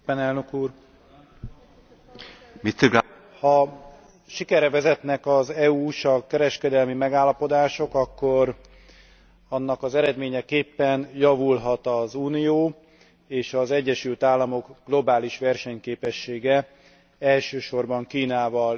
Ha sikerre vezetnek az EU USA kereskedelmi megállapodások, akkor annak eredményeképpen javulhat az Unió és az Egyesült Államok globális versenyképessége, elsősorban Kínával, Indiával és más feltörekvő országokkal szemben,